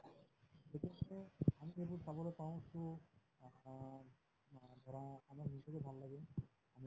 সেইটো চাবলৈ পাওঁ to ধৰা আমাৰ ভাল লাগিল হয়নে